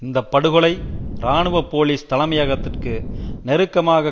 இந்த படுகொலை இராணுவ போலிஸ் தலைமையகத்திற்கு நெருக்கமாக